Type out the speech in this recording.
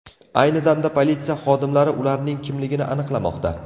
Ayni damda politsiya xodimlari ularning kimligini aniqlamoqda.